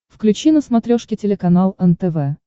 включи на смотрешке телеканал нтв